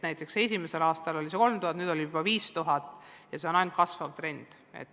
Näiteks esimesel aastal oli see arv 3000, nüüd juba 5000 ja see on kasvav trend.